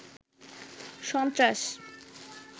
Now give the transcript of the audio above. সন্ত্রাস